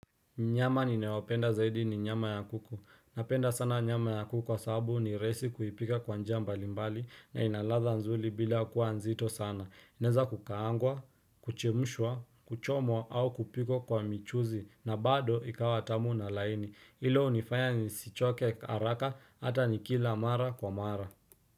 Nyama ninayopenda zaidi ni nyama ya kuku. Napenda sana nyama ya kuku kwa sababu ni rahisi kuipika kwa njia mbalimbali na inaladha nzuri bila kuwa nzito sana. Inaweza kukaangwa, kuchemshwa, kuchomwa au kupikwa kwa michuzi na bado ikawatamu na laini. Hilo hunifanya nisichoke haraka hata nikila mara kwa mara.